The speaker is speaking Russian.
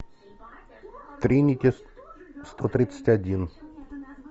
тринити сто тридцать один